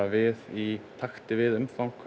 við í takti við umfang